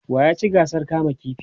wa ya ci gasar kama ƙifi?